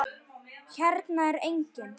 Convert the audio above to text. Hérna er enginn.